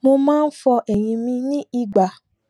mo máa n fọ eyín mi ní ìgbà